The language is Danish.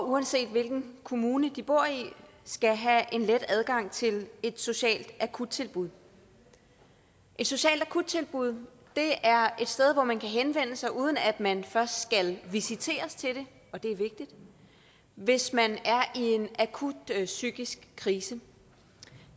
uanset hvilken kommune de bor i skal have en let adgang til et socialt akuttilbud et socialt akuttilbud er et sted hvor man kan henvende sig uden at man først skal visiteres til det og det er vigtigt hvis man er i en akut psykisk krise